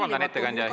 Vabandust, ettekandja!